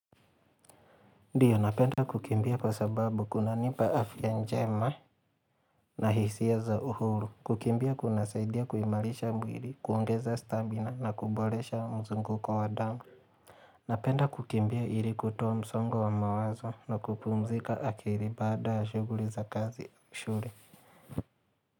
Ndiyo napenda kukimbia kwa sababu kunanipa afya njema na hisia za uhuru kukimbia kuna saidia kuimarisha mwili, kuongeza stamina na kuboresha mzunguko damu Napenda kukimbia ili kutoa msongo wa mawazo na kupumzika akili baada ya shughuli za kazi mzuri.